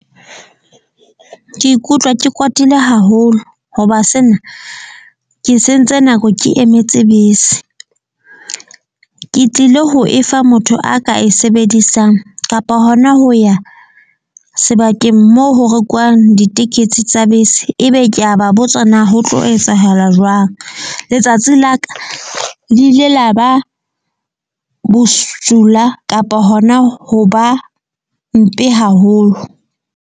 Ke ikutlwa ke kwatile haholo hoba sena ke sentse nako, ke emetse bese. Ke tlile ho efa motho a ka e sebedisang kapa hona ho ya sebakeng moo ho rekuwang ditekesi tsa bese. Ebe ke a ba botsa na ho tlo etsahala jwang? Letsatsi la ka le ile la ba bosula. Kapa hona ho ba mpe haholo.